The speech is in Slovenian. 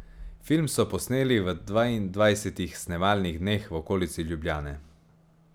Film so posneli v dvaindvajsetih snemalnih dneh v okolici Ljubljane.